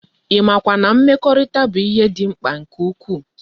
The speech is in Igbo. I ma kwa na mmekorita bu ihe di mkpa nke ukwu?